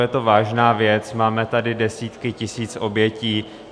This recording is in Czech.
Je to vážná věc, máme tady desítky tisíc obětí.